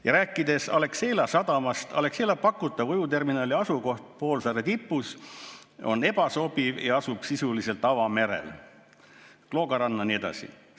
Ja rääkides Alexela sadamast, öeldakse, et Alexela pakutav ujuvterminali asukoht poolsaare tipus on ebasobiv ja asub sisuliselt avamerel, Kloogaranna jne.